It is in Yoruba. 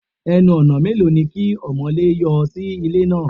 Ẹnu-ọ̀nà mélòó ni kí ọmọ̀lé yọ sí ilé náà?